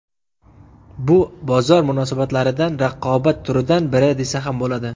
Bu bozor munosabatlaridan raqobat turidan biri desa ham bo‘ladi.